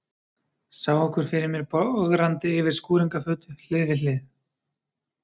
Sá okkur fyrir mér bograndi yfir skúringafötu, hlið við hlið.